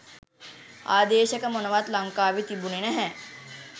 ආදේශක මොනවත් ලංකාවෙ තිබුනෙ නෑ.